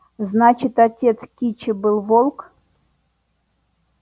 значит отец кичи был волк